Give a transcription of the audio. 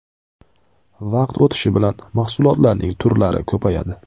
Vaqt o‘tishi bilan mahsulotlar turlari ko‘payadi.